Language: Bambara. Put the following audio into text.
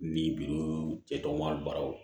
Ni bidulu cɛ tɔgɔma baraw